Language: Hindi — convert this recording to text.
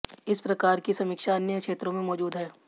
इस प्रकार की समीक्षा अन्य क्षेत्रों में मौजूद है